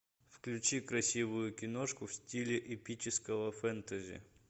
включи красивую киношку в стиле эпического фэнтези